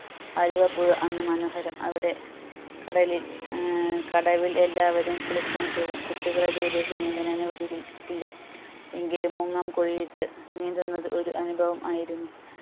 ആലുവ പുഴ അന്ന് മനോഹരം അവിടെ കടലിൽ ഏർ കടവിൽ എല്ലാവരും കുളിക്കാൻ പോകും കുട്ടികളെ ദൂരേക്ക് നീന്താൻ അനുവദികി ക്കില്ല എന്നാലും മുങ്ങാംകുഴി ഇട്ട് നീന്തുന്നത് ഒരു അനുഭവം ആയിരുന്നു